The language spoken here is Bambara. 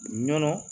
Nɔnɔ